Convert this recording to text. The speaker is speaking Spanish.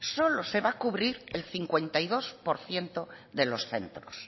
solo se va cubrir el cincuenta y dos por ciento de los centros